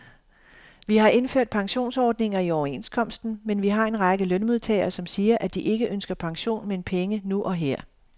Vi har indført pensionsordninger i overenskomsten, men vi har en række lønmodtagere, som siger, at de ikke ønsker pension, men penge nu og her.